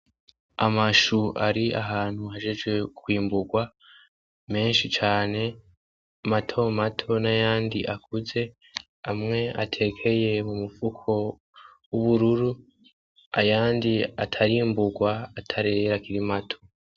Amashu ari ahantu ahejeje kwimburwa menshi cane matomato n'ayandi akuze, amwe atekeye mu mufuko w'ubururu ayandi atarimburwa atarera akiri mato.